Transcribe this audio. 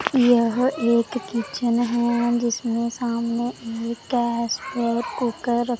यह एक किचन है जिसमें सामने गैस और कुकर रखा--